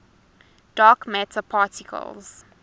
dark matter particles